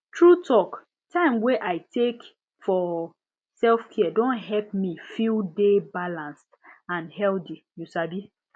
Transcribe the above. true talk time wey i take for selfcare don help me feel dey balanced and healthy you sabi